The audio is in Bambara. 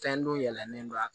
Fɛn do yɛlɛnen don